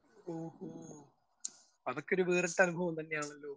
Speaker 1 ഓഹോ. അതൊക്കെ വേറിട്ടൊരനുഭവം തന്നെ ആണല്ലോ?